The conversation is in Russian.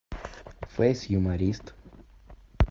фейс юморист